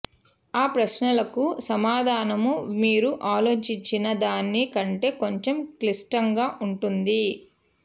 ఆ ప్రశ్నలకు సమాధానము మీరు ఆలోచించిన దాని కంటే కొంచెం క్లిష్టంగా ఉంటుంది